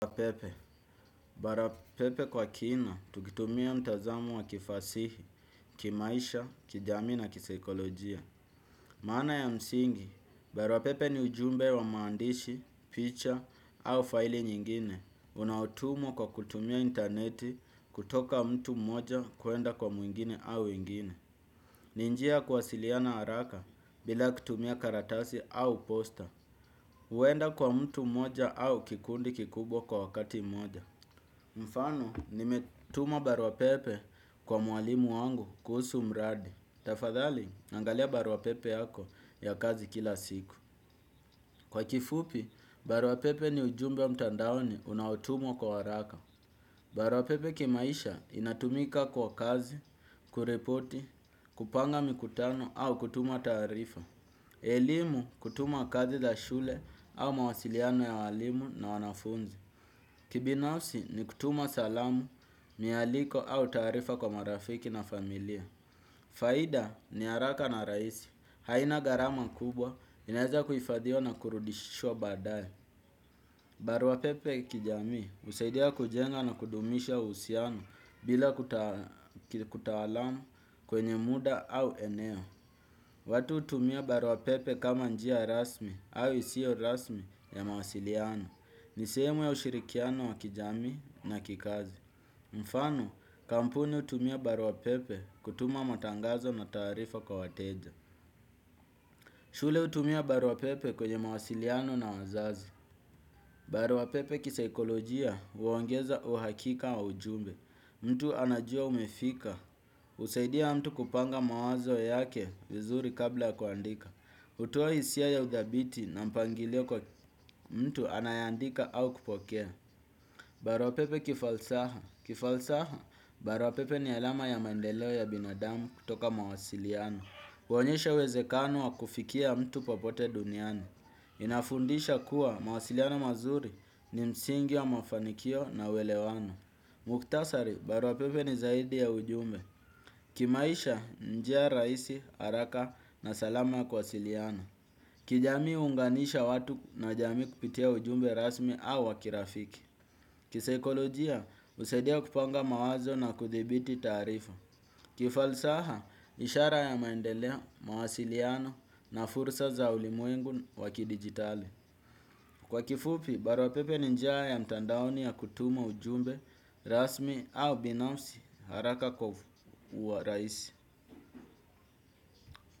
Apepe, barapepe kwa kina, tukitumia mtazamo wa kifasihi, kimaisha, kijamii na kisaikolojia. Maana ya msingi, baruapepe ni ujumbe wa maandishi, picha au faili nyingine. Unautumwo kwa kutumia interneti kutoka mtu mmoja kwenda kwa mwingine au ingine. Ni njia ya kuwasiliana haraka bila kutumia karatasi au posta. Uenda kwa mtu mmoja au kikundi kikubwa kwa wakati mmoja. Mfano, nimetuma baruapepe kwa mwalimu wangu kuhusu mradi. Tafadhali, angalia barua pepe yako ya kazi kila siku. Kwa kifupi, barua pepe ni ujumbe wa mtandaoni unautumwa kwa waraka. Barwa pepe kimaisha inatumika kwa kazi, kureporti, kupanga mikutano au kutuma taarifa. Elimu, kutuma kazi za shule au mawasiliano ya walimu na wanafunzi. Kibinafsi ni kutuma salamu, mihaliko au taarifa kwa marafiki na familia. Faida ni araka na raisi. Haina garama kubwa, ineza kuifadhiwa na kurudishwa baadae. Baruapepe kijamii husaidia kujenga na kudumisha uusiano bila kutawalamu kwenye muda au eneo. Watu utumia baruapepe kama njia rasmi au isio rasmi ya mawasiliano. Ni seemu ya ushirikiano wa kijamii na kikazi. Mfano, kampuni utumia baruapepe kutuma matangazo na taarifa kwa wateja. Shule utumia baruapepe kwenye mawasiliano na wazazi. Baruapepe kisaikolojia uongeza uhakika wa ujumbe. Mtu anajua umefika. Usaidia mtu kupanga mawazo yake vizuri kabla ya kwandika. Hutoa isia ya udhabiti na mpangilio kwa mtu anayeandika au kupokea. Barua pepe kifalsaha. Kifalsaha, barua pepe ni alama ya maendelo ya binadamu kutoka mawasiliano. Kuonyesha uwezekano wa kufikia mtu popote duniani. Inafundisha kuwa mawasiliano mazuri ni msingi wa mafanikio na uelewano. Mukhtasari, barua pepe ni zaidi ya ujumbe. Kimaisha, njia raisi, araka na salama ya kuasiliana. Kijamii huunganisha watu na jamii kupitia ujumbe rasmi au wa kirafiki. Kisaikolojia, usaidia kupanga mawazo na kuthibiti taarifa. Kifalsaha, ishara ya maendelea, mawasiliano na fursa za ulimwengu wa kidigitali. Kwa kifupi, barwa pepe ni njia ya mtandaoni ya kutuma ujumbe rasmi au binafsi haraka kwa uwaraisi.